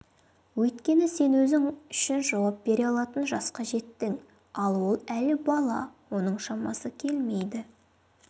өйткені сен өзің үшін жауап бере алатын жасқа жеттің ал ол әлі бала оның шамасы келмейді